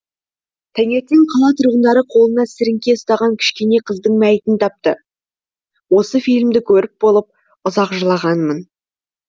таңертең қала тұрғындары қолына сіріңке ұстаған кішкене қыздың мәйітін тапты осы фильмді көріп болып ұзақ жылағанмын